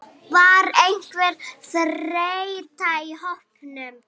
Var einhver þreyta í hópnum?